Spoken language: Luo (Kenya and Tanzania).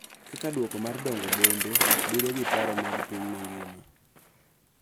Kaka duoko mar dongo bombe, bedo gi paro mag piny mangima,